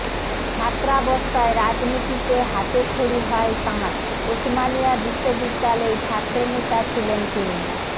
ছাত্রাবস্থায় রাজনীতিতে হাতেখড়ি হয় তাঁর ওসমানিয়া বিশ্ববিদ্যালয়ে ছাত্রনেতা ছিলেন তিনি